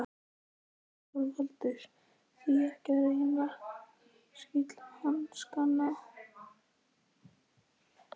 ÞORVALDUR: Því ekki að reyna silkihanskana.